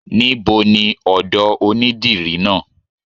Níboni ọ̀dọ̀ onídìrí náà?